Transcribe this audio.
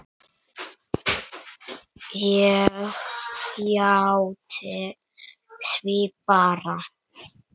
Ég játti því bara.